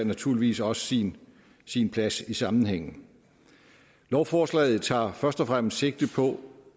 naturligvis også sin sin plads i sammenhængen lovforslaget tager først og fremmest sigte på